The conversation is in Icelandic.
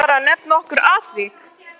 Ætlar þú bara að nefna okkar atvik?